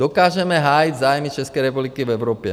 Dokážeme hájit zájmy České republiky v Evropě.